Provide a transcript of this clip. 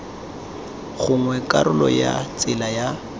gongwe karolo ya tsela ya